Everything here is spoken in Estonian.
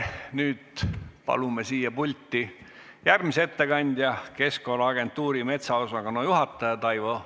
Nüüd palume siia pulti järgmise ettekandja, Keskkonnaagentuuri metsaosakonna juhataja Taivo Denksi.